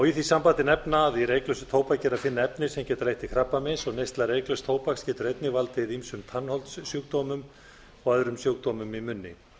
í því sambandi nefna að í reyklausu tóbaki er að finna efni sem geta leitt til krabbameins og neysla reyklauss tóbaks getur einnig valdið ýmsum tannholdssjúkdómum og öðrum sjúkdómum í munni